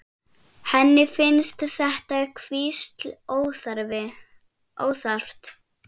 Henni finnst þetta hvísl óþarft.